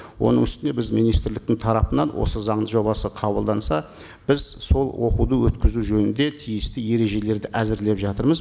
оның үстіне біз министрліктің тарапынан оы заң жобасы қабылданса біз сол оқуды өткізу жөнінде тиісті ережелерді әзірлеп жатырмыз